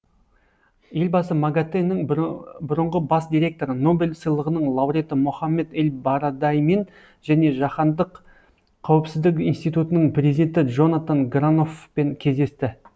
елбасы магатэ нің бұрынғы бас директоры нобель сыйлығының лауреаты мохаммед эль барадеймен және жаһандық қауіпсіздік институтының президенті джонатан граноффпен кездесті